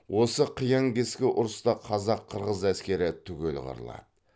осы қиян кескі ұрыста қазақ қырғыз әскері түгел қырылады